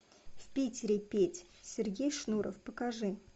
в питере петь сергей шнуров покажи